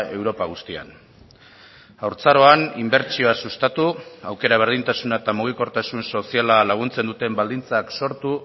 europa guztian haurtzaroan inbertsioa sustatu aukera berdintasuna eta mugikortasun soziala laguntzen duten baldintzak sortu